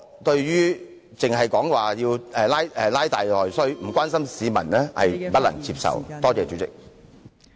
代理主席，光談拉大內需，卻不關心市民......是我不能接受的。